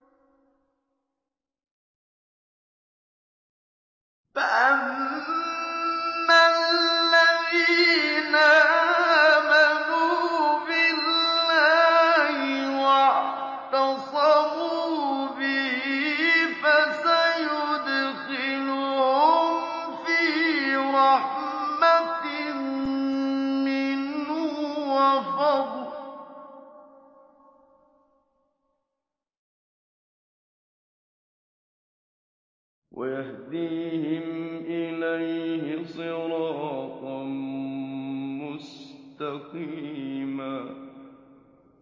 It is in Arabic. فَأَمَّا الَّذِينَ آمَنُوا بِاللَّهِ وَاعْتَصَمُوا بِهِ فَسَيُدْخِلُهُمْ فِي رَحْمَةٍ مِّنْهُ وَفَضْلٍ وَيَهْدِيهِمْ إِلَيْهِ صِرَاطًا مُّسْتَقِيمًا